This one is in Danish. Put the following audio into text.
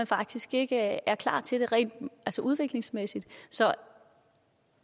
faktisk ikke er klar til det rent udviklingsmæssigt så